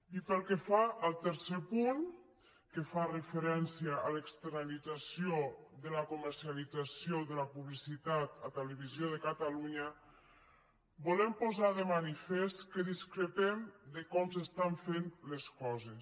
i pel que fa al tercer punt que fa referència a l’externalització de la comercialització de la publicitat a televisió de catalunya volem posar de manifest que discrepem de com s’estan fent les coses